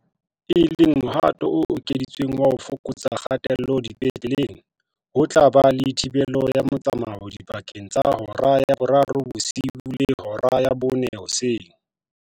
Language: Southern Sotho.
E le mohato o ekeditsweng wa ho fokotsa kgatello dipetleleng, ho tla ba le thibelo ya motsamao dipakeng tsa hora ya borobong bosiu le hora ya bone hoseng.